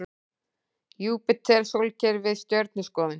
Júpíter Sólkerfið Stjörnuskoðun.